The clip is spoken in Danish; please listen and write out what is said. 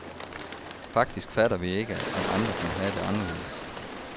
Faktisk fatter vi ikke, at andre kan have det anderledes.